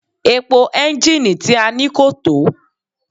Epo ẹ́ńjínnìì tí a ní kò tó.